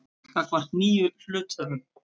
gagnvart nýjum hluthöfum.